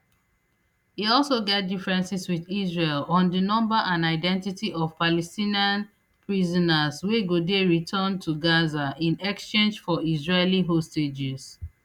e also get differences wit israel on di number and identity of palestinian prisoners wey go dey returned to gaza in exchange for israeli hostages